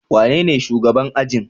Wanene shugaban ajin?